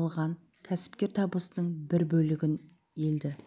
алған кәсіпкер табысының бір бөлігін елді